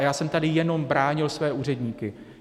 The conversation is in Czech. A já jsem tady jenom bránil své úředníky.